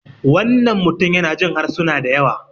wannan mutum yana Jin harsuna da yawa